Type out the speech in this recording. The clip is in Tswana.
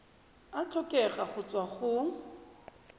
a tlhokega go tswa go